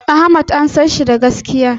Ahmad an sanshi da gaskiya